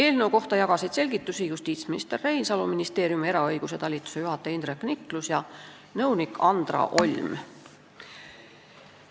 Eelnõu kohta jagasid selgitusi justiitsminister Reinsalu, ministeeriumi eraõiguse talituse juhataja Indrek Niklus ja nõunik Andra Olm.